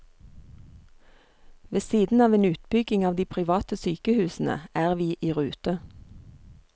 Ved siden av en utbygging av de private sykehusene er vi i rute.